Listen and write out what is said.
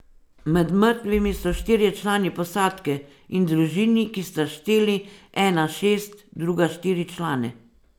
Med mrtvimi so štirje člani posadke, in družini, ki sta šteli ena šest druga štiri člane.